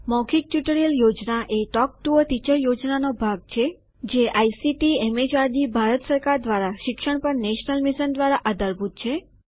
મૌખિક ટ્યુટોરીયલ યોજના એ ટોક ટુ અ ટીચર યોજનાનો ભાગ છે જે આઇસીટીએમએચઆરડીભારત સરકાર દ્વારા શિક્ષણ પર નેશનલ મિશન દ્વારા આધારભૂત છે